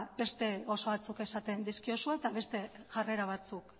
beste gauza batzuk esaten dizkiozue eta beste jarrera batzuk